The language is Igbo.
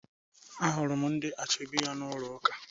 Ahụrụ m ndị ashebi ya n'ụlọ ụka